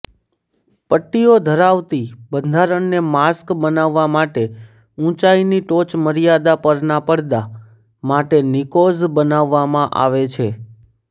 પટ્ટીઓ ધરાવતી બંધારણને માસ્ક બનાવવા માટે ઉંચાઇની ટોચમર્યાદા પરના પડડા માટે નિકોઝ બનાવવામાં આવે છે